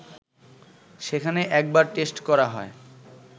সেখানে একবার টেস্ট করা হয়